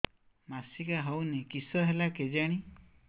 ମାସିକା ହଉନି କିଶ ହେଲା କେଜାଣି